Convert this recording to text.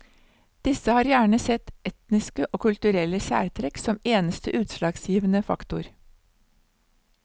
Disse har gjerne sett etniske og kulturelle særtrekk som eneste utslagsgivende faktor.